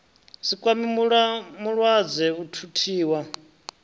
si kwame mulwadze a thuthiwa